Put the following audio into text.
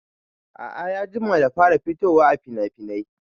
A'a ya jima da fara fitowaa finafinai